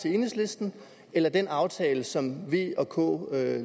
til enhedslisten eller den aftale som v og k lavede